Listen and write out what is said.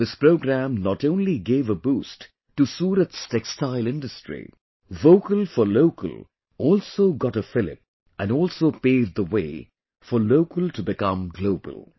This program not only gave a boost to Surat's Textile Industry, 'Vocal for Local' also got a fillip and also paved the way for Local to become Global